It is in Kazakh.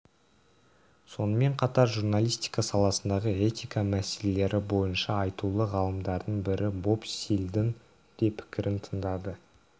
сонымен қатар журналистика саласындағы этика мәселелері бойынша айтулы ғалымдардың бірі боб стильдің де пікірін тыңдады